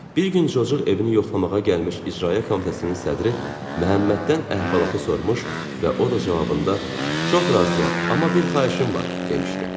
Bir gün cocuq evini yoxlamağa gəlmiş İcraiyyə Komitəsinin sədri Məhəmməddən əhvalatı sormuş və o da cavabında, çox razıyam, amma bir xahişim var, demişdi.